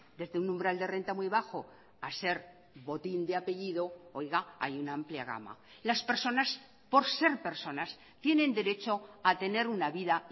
desde un umbral de renta muy bajo a ser botín de apellido oiga hay una amplia gama las personas por ser personas tienen derecho a tener una vida